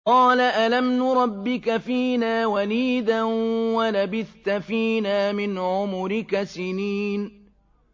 قَالَ أَلَمْ نُرَبِّكَ فِينَا وَلِيدًا وَلَبِثْتَ فِينَا مِنْ عُمُرِكَ سِنِينَ